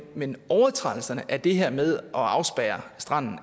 men overtrædelserne af det her med at afspærre stranden